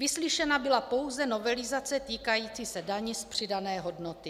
Vyslyšena byla pouze novelizace týkající se daně z přidané hodnoty.